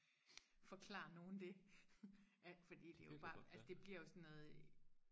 forklare nogen det at fordi det er jo bare altså det bliver jo sådan noget